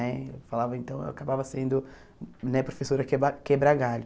Né? Eu falava então, eu acabava sendo né professora queba quebra galho.